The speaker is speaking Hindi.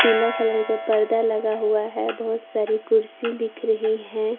पीला कलर के पर्दा लगा हुआ है बहुत सारी कुर्सी दिख रही है।